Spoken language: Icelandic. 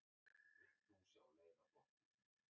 Hvern vilt þú sjá leiða flokkinn?